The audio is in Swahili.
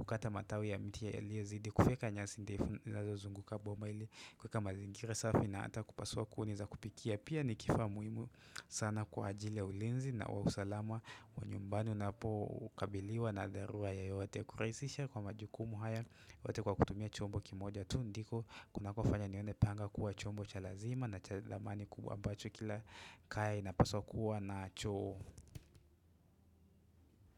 siku tofauti Kufyeka nyasi ndefu zinazozunguka boma ili kuweka mazingira safi na hata kupasua kuni za kupikia Pia nikifaa muhimu sana kwa ajili ya ulinzi na wa usalama wa nyumbani unapokabiliwa na dharura yoyote kurahisisha kwa majukumu haya yote kwa kutumia chombo kimoja tu ndiko kunakofanya nione panga kuwa chombo cha lazima na cha dhamani kubwa ambacho kila kaya inapaswa kuwa nacho.